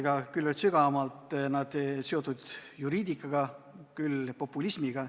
Osa neist oli sügavamalt seotud juriidikaga, osa populismiga.